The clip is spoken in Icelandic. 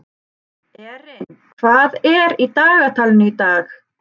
Erin, hvað er í dagatalinu í dag?